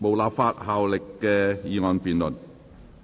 無立法效力的議案辯論。